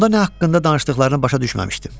Onda nə haqqında danışdıqlarını başa düşməmişdim.